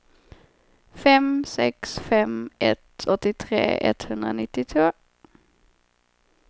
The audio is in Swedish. fem sex fem ett åttiotre etthundranittiotvå